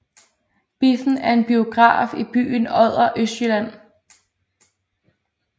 Biffen er en biograf i byen Odder Østjylland